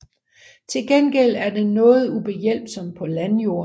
Til gengæld er den noget ubehjælpsom på landjorden